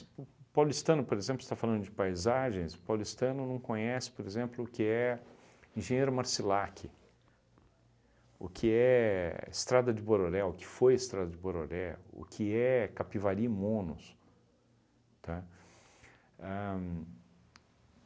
O o paulistano, por exemplo, você está falando de paisagens, o paulistano não conhece, por exemplo, o que é Engenheiro Marcilac, o que é Estrada de Bororé, o que foi Estrada de Bororé, o que é Capivari e Monos, tá? Ahn